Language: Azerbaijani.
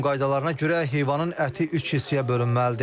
İslam qaydalarına görə heyvanın əti üç hissəyə bölünməlidir.